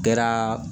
Kɛra